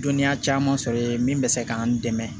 Dɔnniya caman sɔrɔ ye min bɛ se k'an dɛmɛ